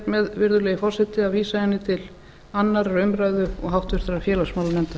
með virðulegi forseti að vísa henni til annarrar umræðu og háttvirtur félagsmálanefndar